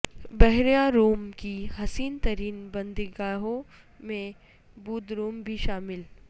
بحیرہ روم کی حسین ترین بندرگاہوں میں بودروم بھی شامل